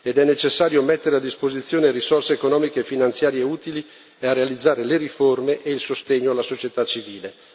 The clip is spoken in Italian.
È necessario mettere a disposizione risorse economiche e finanziarie utili a realizzare le riforme e il sostegno alla società civile.